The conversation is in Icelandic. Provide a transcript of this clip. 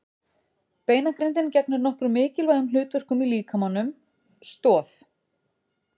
Beinagrindin gegnir nokkrum mikilvægum hlutverkum í líkamanum: Stoð.